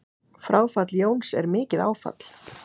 Fráfall Jóns er mikið áfall.